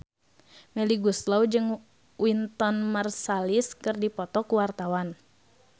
Melly Goeslaw jeung Wynton Marsalis keur dipoto ku wartawan